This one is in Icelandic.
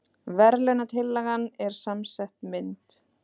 Verðlaunatillagan er samsett mynd